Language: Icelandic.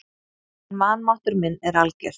En vanmáttur minn er alger.